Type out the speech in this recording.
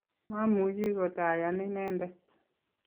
mamuchi kotayan inendet